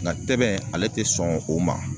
Nga tɛbɛn ale te sɔn o ma